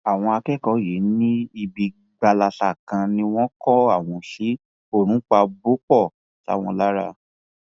àwọn akẹkọọ yìí ní ibi gbalasa kan ni wọn kó àwọn sí oòrùn pa bọpọ sáwọn lára